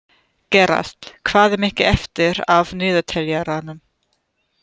Gerald, hvað er mikið eftir af niðurteljaranum?